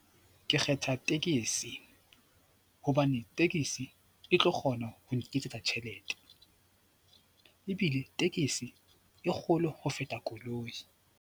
Ke kgetha tekesi hobane tekesi e tlo kgona ho nketsetsa tjhelete ebile tekesi e kgolo ho feta koloi.